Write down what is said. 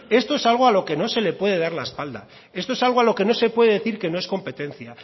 esta es algo a lo que no se le puede dar la espalda esto es algo a lo que no se puede decir que no es competencia